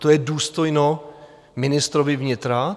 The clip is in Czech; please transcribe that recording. To je důstojno ministrovi vnitra?